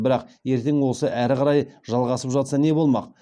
бірақ ертең осы әрі қарай жалғасып жатса не болмақ